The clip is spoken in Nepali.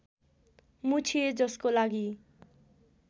मुछिए जसको लागि